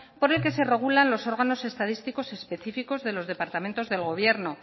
por el que se regulan los órganos estadísticos y específicos de los departamentos del gobierno